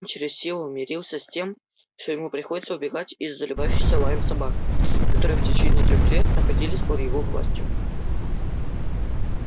он через силу мирился с тем что ему приходится убегать из заливающихся лаем собак которые в течение трёх лет находились под его властью